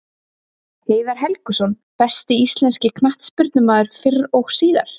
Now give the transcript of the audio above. Heiðar Helguson Besti íslenski knattspyrnumaðurinn fyrr og síðar?